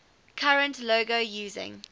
current logo using